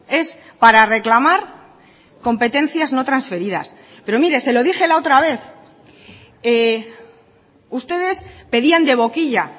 es para reclamar competencias no transferidas pero mire se lo dije la otra vez ustedes pedían de boquilla